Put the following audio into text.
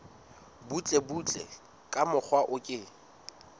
butlebutle ka mokgwa o ke